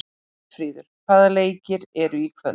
Björnfríður, hvaða leikir eru í kvöld?